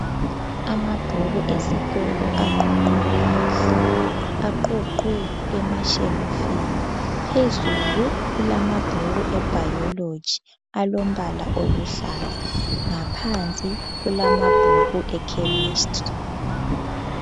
Amabhuku esikolo aqoqwe kahle. Aqoqwe emashelufini phezulu kulamabhuku eBiology alombala oluhlaza ngaphansi kulamabhuku eChemistry.